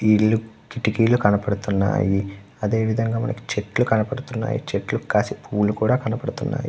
ఈ ఇల్లు కిటికీలు కనబడుతున్నాయి. అదే విదంగా మనకి చెట్లు కనపడుతునాయి చెట్లకు కాసే పూవులు కూడా కనబడుతున్నాయి.